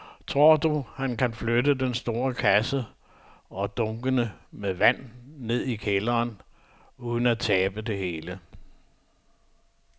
Tror du, at han kan flytte den store kasse og dunkene med vand ned i kælderen uden at tabe det hele?